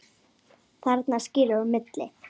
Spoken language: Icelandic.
Þarna skilur á milli.